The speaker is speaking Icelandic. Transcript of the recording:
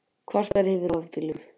Kvartar yfir rafbílnum